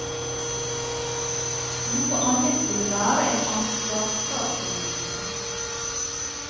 Noe annet ville være en ansvarsfraskrivelse.